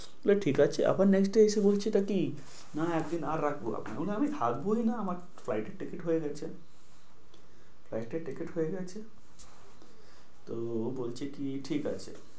বললো ঠিক আছে। আবার next day এসে বলছেটা কি না একদিন আর রাখবো আপনাকে। বললাম আমি বললাম আমি থাকবোই না। আমার flight এর ticket হয়ে গেছ flight এ ticket হয়ে গেছে। তো ও বলছে কি ঠিক আছে।